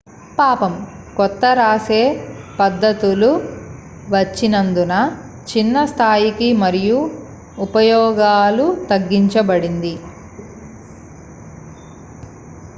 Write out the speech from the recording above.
పాపం కొత్త రాసే పద్ధతులు వచ్చినందున చిన్న స్థాయికి మరియు ఉపయోగాలకు తగ్గించబడింది